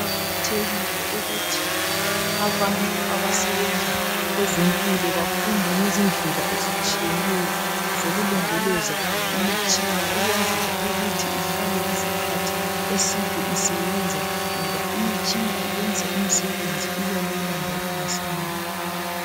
kuqakathekile uuthi abantu abasebenza kwezempilo bafunde ngezindlela ezitshiyeneyo zokulondoloza imitshina ukwenzela ukuthi ihlale isikhathi eside isebenza ngoba imitshina iynza imisebenzi ibelula njalo masinyane